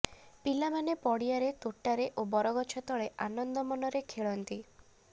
ପିଲାମାନେ ପଡ଼ିଆରେ ତୋଟାରେ ଓ ବରଗଛ ତଳେ ଆନନ୍ଦ ମନରେ ଖେଳନ୍ତି